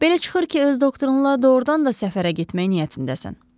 Belə çıxır ki, öz doktorunla doğurdan da səfərə getmək niyyətindəsən.